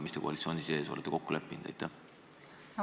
Mis te koalitsiooni sees olete kokku leppinud?